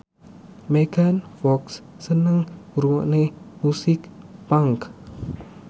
Megan Fox seneng ngrungokne musik punk